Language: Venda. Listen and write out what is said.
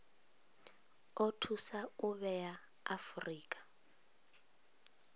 o thusa u vhea afurika